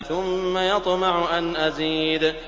ثُمَّ يَطْمَعُ أَنْ أَزِيدَ